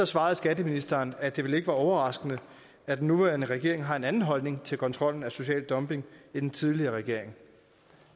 svarede skatteministeren at det vel ikke var overraskende at den nuværende regering har en anden holdning til kontrollen af social dumping end den tidligere regering